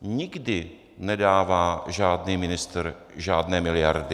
Nikdy nedává žádný ministr žádné miliardy.